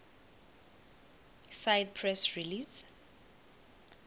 cite press release